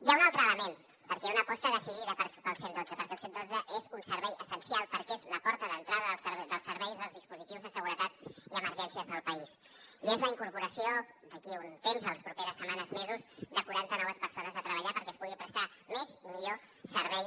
hi ha un altre element perquè hi ha una aposta decidida pel cent i dotze perquè el cent i dotze és un servei essencial perquè és la porta d’entrada dels serveis dels dispositius de seguretat i emergències del país i és la incorporació d’aquí a un temps en les properes setmanes mesos de quaranta noves persones a treballar perquè es pugui prestar més i millor servei